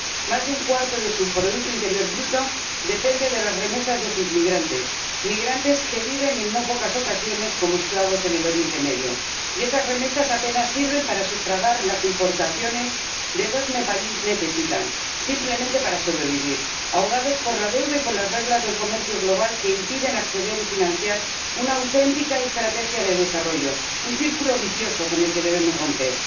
Más de un cuarto de su producto interior bruto depende de las remesas de sus migrantes ―migrantes que viven, en no pocas ocasiones, como esclavos en el Oriente Medio―, y esas remesas apenas sirven para sufragar las importaciones que los nepalíes necesitan simplemente para sobrevivir, ahogados por la deuda y por las reglas del comercio global que impiden acceder y financiar una auténtica estrategia de desarrollo un círculo vicioso con el que debemos romper.